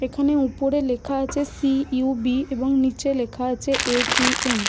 এখনএ ওপরে লেখা আছে সি.উ.বি এবং নিচে লেখা আছে এ.টি.এম ।।